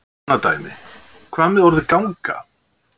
Tökum annað dæmi: Hvað með orðið ganga?